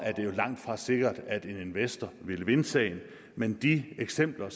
det jo langtfra sikkert at en investor ville vinde sagen men de eksempler